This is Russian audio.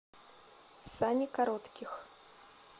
сани коротких